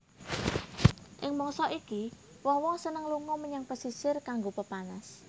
Ing mangsa iki wong wong seneng lunga menyang pesisir kanggo pepanas